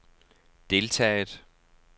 deltaget